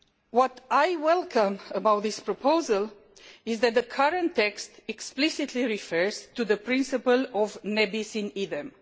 What I welcome about this proposal is that the current text explicitly refers to the principle of ne bis in idem